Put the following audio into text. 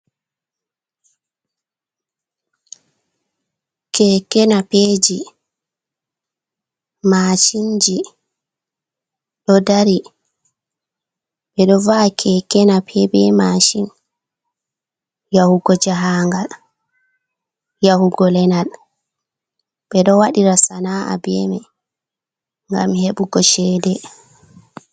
Keke napeji, mashinji ɗodari, ɓeɗo va’a keke nape ɓe mashin yahugo jahagal, yahugo lenal, ɓeɗo waɗira sana’a bemai gam hebugo cede.